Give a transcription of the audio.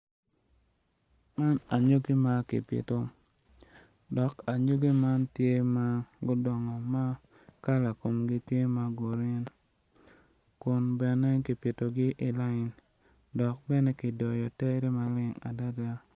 Man anyogi ma kipito dok anyogi man tye ma gudongo ma kala komgi tye ma grin kun bene gipitogi i layin dok bene kidoyo tere maleng adada.